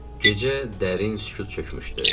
Gecə dərin sükut çökmüşdü.